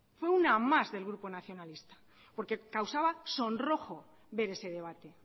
fue uma más del grupo nacionalista porque causaba sonrojo ver ese debate